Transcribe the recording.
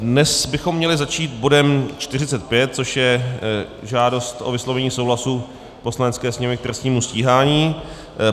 Dnes bychom měli začít bodem 45, což je žádost o vyslovení souhlasu Poslanecké sněmovny k trestnímu stíhání.